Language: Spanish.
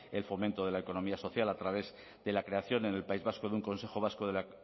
el fomento de la economía social a través de la creación en el país vasco de un consejo vasco de la